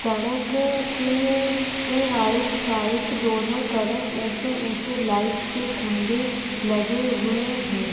सड़क के ये राईट साइड दोनों तरफ ऊचे- ऊचे लाइट के खंबे लगे हुए हैं।